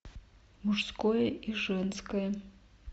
мужское и женское